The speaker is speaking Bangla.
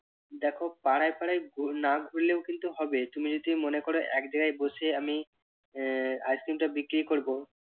দেখো পাড়ায় পাড়ায় ঘুর~ না ঘুরলেও কিন্তু হবে তুমি যদি মনে কর আমি এক জায়গায় বসে আমি আহ ice cream টা বিক্রি করব